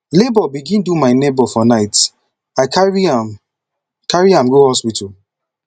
labor begin do my neighbour for night i carry am carry am go hospital